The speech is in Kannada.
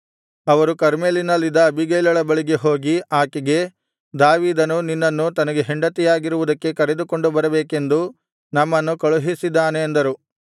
ಅವರು ಕರ್ಮೆಲಿನಲ್ಲಿದ್ದ ಅಬೀಗೈಲಳ ಬಳಿಗೆ ಹೋಗಿ ಆಕೆಗೆ ದಾವೀದನು ನಿನ್ನನ್ನು ತನಗೆ ಹೆಂಡತಿಯಾಗಿರುವುದಕ್ಕೆ ಕರೆದುಕೊಂಡು ಬರಬೇಕೆಂದು ನಮ್ಮನ್ನು ಕಳುಹಿಸಿದ್ದಾನೆ ಅಂದರು